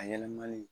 A yɛlɛmali